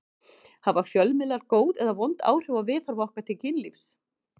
Hafa fjölmiðlar góð eða vond áhrif á viðhorf okkar til kynlífs?